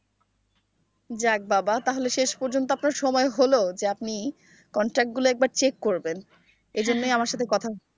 যাক বাবা তাহলে শেষ পর্যন্ত আপনার সময় হল যে আপনি contact গুলো একবার check করবেন এজন্যই আমার সাথে কথা।